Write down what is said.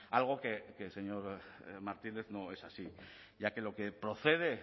algo que señor martínez no es así ya que lo que procede